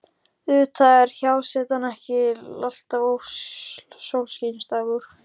Auðvitað var hjásetan ekki alltaf sólskinsdagur.